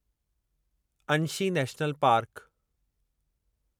Anshi national park